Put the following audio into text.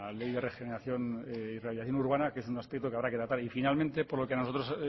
ley de regeneración y rehabilitación urbana que es un escrito que habrá que tratar y finalmente por lo que a nosotros